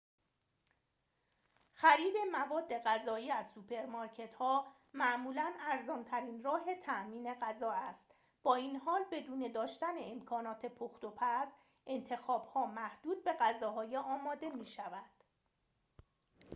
خرید مواد غذایی از سوپرمارکت‌ها معمولاً ارزان‌ترین راه تأمین غذا است با این حال بدون داشتن امکانات پخت‌وپز انتخاب‌ها محدود به غذاهای آماده می‌شود